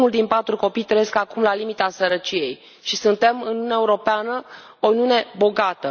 Unu din patru copii trăiește acum la limita sărăciei și suntem în Uniunea Europeană, o lume bogată.